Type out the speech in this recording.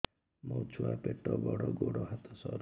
ମୋ ଛୁଆ ପେଟ ବଡ଼ ଗୋଡ଼ ହାତ ସରୁ